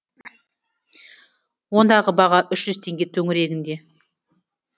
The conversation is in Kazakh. ондағы баға үш жүз теңге төңірегінде